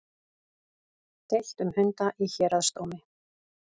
Deilt um hunda í héraðsdómi